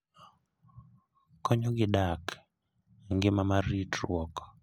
Konyogi dak e ngima mar ritruok.